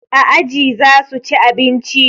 A aji zasu ci abinci